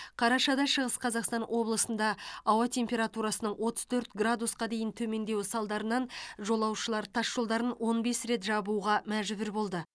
қарашада шығыс қазақстан облысында ауа температурасының отыз төрт градусқа дейін төмендеуі салдарынан жолшылар тасжолдарын он бес рет жабуға мәжбүр болды